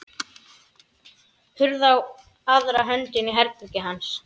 Hurð á aðra hönd inn í herbergið hans.